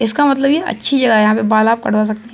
इसका मतलब ये अच्छी जगह है। यहां पे बाल आप कटवा सकते --